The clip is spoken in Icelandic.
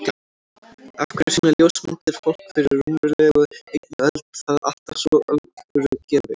Af hverju sýna ljósmyndir fólk fyrir rúmlega einni öld það alltaf svo alvörugefið?